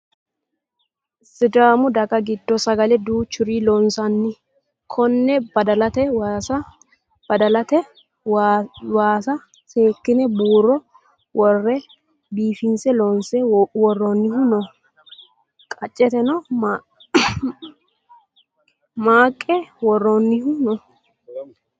Sidaamu daga giddo sagale duuchuri loonsanni. Konne badalate waasa seekkine buuro worre biifinse loonse worroyihu no. Qacceteno maanka worroyihu no.